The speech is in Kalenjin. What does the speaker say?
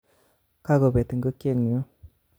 Kakobet ikokyenyun